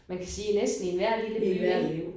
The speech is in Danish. Men kan sige næsten i enhver lille by ik